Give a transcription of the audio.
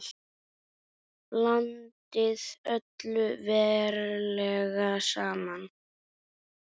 Blandið öllu varlega saman.